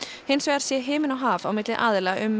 hins vegar sé himinn og haf séu á milli aðila um